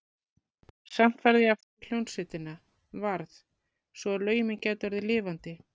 Samt varð ég að fara í hljómsveitina, varð, svo að lögin mín gætu orðið lifandi.